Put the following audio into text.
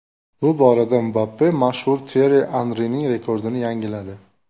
Bu borada Mbappe mashhur Tyerri Anrining rekordini yangiladi.